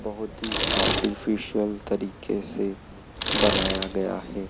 बहुत ही आर्टिफिशियल तरीके से बनाया गया है।